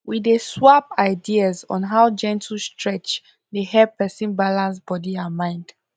we dey swap ideas on how gentle stretch dey help person balance body and mind